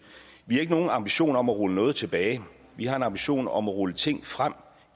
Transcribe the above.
vi har ikke nogen ambitioner om at rulle noget tilbage vi har en ambition om at rulle nogle ting frem